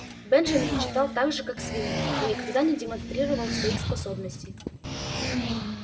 бенджамин читал так же как свиньи но никогда не демонстрировал своих способностей